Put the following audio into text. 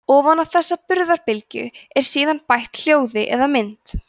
ofan á þessa burðarbylgju er síðan bætt hljóði eða mynd